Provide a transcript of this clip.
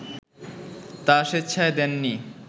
তা স্বেচ্ছায় দেননি